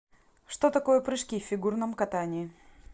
что такое прыжки в фигурном катании